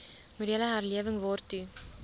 morele herlewing waartoe